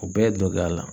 U bɛɛ dong'a la